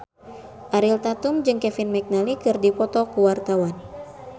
Ariel Tatum jeung Kevin McNally keur dipoto ku wartawan